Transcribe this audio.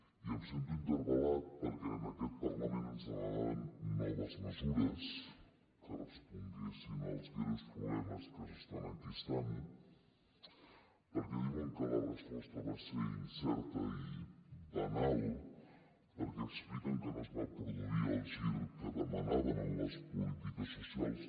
i em sento interpeles demanaven noves mesures que responguessin als greus problemes que s’estan enquistant perquè diuen que la resposta va ser incerta i banal perquè expliquen que no es va produir el gir que demanaven en les polítiques socials